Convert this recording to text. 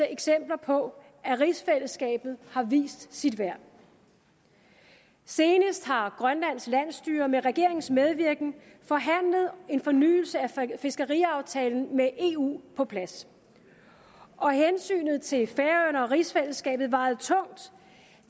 eksempler på at rigsfællesskabet har vist sit værd senest har grønlands landsstyre med regeringens medvirken forhandlet en fornyelse af fiskeriaftalen med eu på plads og hensynet til færøerne og rigsfællesskabet vejede tungt